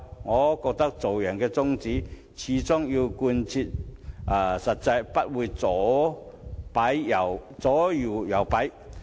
我覺得做人的宗旨必須貫徹始終，不應該左搖右擺。